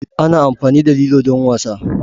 Ana amfani da lilo don wasa.